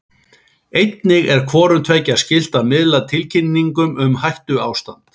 Einnig er hvorum tveggja skylt að miðla tilkynningum um hættuástand.